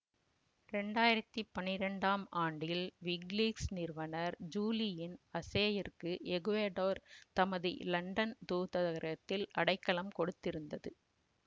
இரண்டு ஆயிரத்தி பன்னிரெண்டாம் ஆண்டில் விக்கிலீக்ஸ் நிறுவனர் ஜூலியன் அசேயிற்கு எக்குவடோர் தமது இலண்டன் தூத்தரகத்தில் அடைக்கலம் கொடுத்திருந்தது